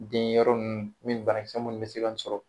Den yɔrɔ ninnu min banakisɛ minnu bɛ se ka sɔrɔ